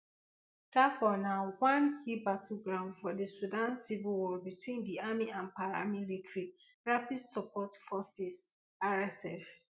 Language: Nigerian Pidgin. dafur na one key battle ground for di sudan civil war between di army and di paramilitary rapid support forces rsf